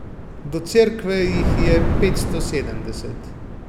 Do cerkve jih je petsto sedemdeset.